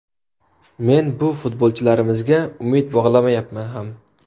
Men bu futbolchilarimizga umid bog‘lamayapman ham.